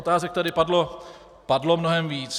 Otázek tady padlo mnohem víc.